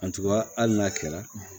Attban hali n'a kɛra